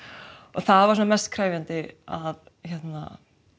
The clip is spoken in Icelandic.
það var svona mest krefjandi